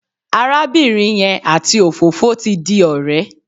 Arábìnrin yẹn àti òfófó ti di ọ̀rẹ́.